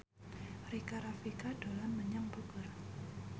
Rika Rafika dolan menyang Bogor